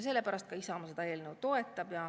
Sellepärast Isamaa seda eelnõu toetab.